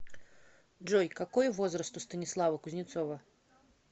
джой какой возраст у станислава кузнецова